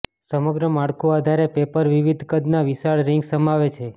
સમગ્ર માળખું આધારે પેપર વિવિધ કદના વિશાળ રિંગ્સ સમાવે છે